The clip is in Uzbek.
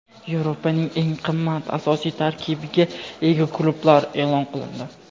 Yevropaning eng qimmat asosiy tarkibga ega klublari e’lon qilindi.